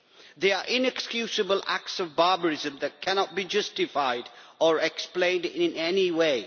They are inexcusable acts of barbarism that cannot be justified or explained in any way.